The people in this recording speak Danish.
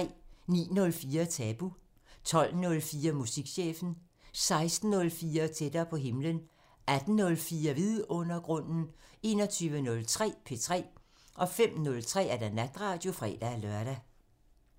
09:04: Tabu 12:04: Musikchefen 16:04: Tættere på himlen 18:04: Vidundergrunden 21:03: P3 05:03: Natradio (fre-lør)